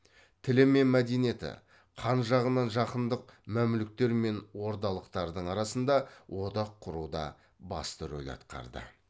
тілі мен мәдениеті қан жағынан жақындық мәмлүктер мен ордалықтардың арасында одақ құруда басты рөл атқарды